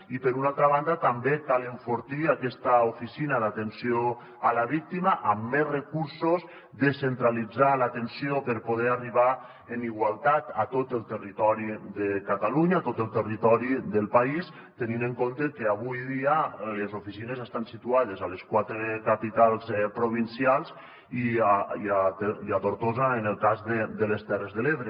i per una altra banda també cal enfortir aquesta oficina d’atenció a la víctima amb més recursos descentralitzar l’atenció per poder arribar en igualtat a tot el territori de catalunya a tot el territori del país tenint en compte que avui dia les oficines estan situades a les quatre capitals provincials i a tortosa en el cas de les terres de l’ebre